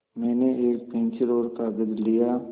मैंने एक पेन्सिल और कागज़ लिया